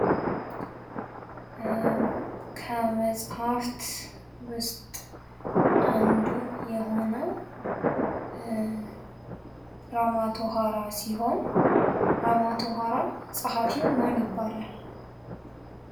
ከመጻህፍት ውስጥ አንዱ የሆነው ራማቶሀራ ሲሆን ራማቶሀራ ፀሐፊው ማን ይባላል?